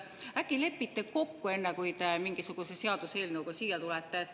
Äkki lepite kokku, enne kui mingisuguse seaduseelnõuga siia tulete?